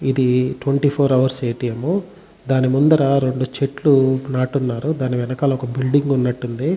ఇది twenty four hours ATM ముహ్. దాని ముందర రెండు చెట్లు నాటున్నారు. దాని వెనకాల ఒక బిల్డింగ్ ఉన్నటుంది.